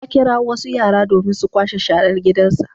Ya kirawo wasu yara domin su kwashe sharar gidansa.